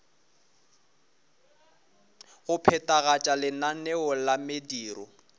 go phethagatša lenaneo la mediro